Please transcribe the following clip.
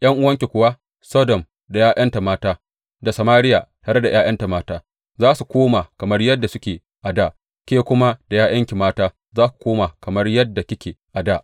’Yan’uwanki kuwa, Sodom da ’ya’yanta mata da Samariya tare da ’ya’yanta mata, za su koma kamar yadda suke a dā; ke kuma da ’ya’yanki mata za ku koma kamar yadda kike a dā.